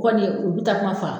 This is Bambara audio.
Kɔni u bi takuma fa